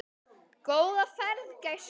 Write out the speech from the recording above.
Góða ferð, gæskan!